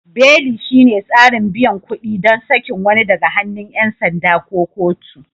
Beli shine tsarin biyan kuɗi ɗon sakin wani daga hannun 'yan sanda ko kotu.